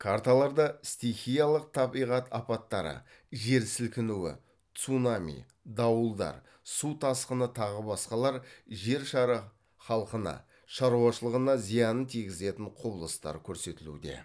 карталарда стихиялық табиғат апаттары жер сілкінуі цунами дауылдар су тасқыны тағы басқалар жер шары халқына шаруашылығына зиянын тигізетін құбылыстар көрсетілуде